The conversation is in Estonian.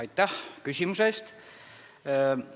Aitäh küsimuse eest!